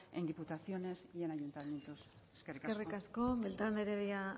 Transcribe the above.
en diputaciones y ayuntamientos eskerrik asko eskerrik asko beltrán de heredia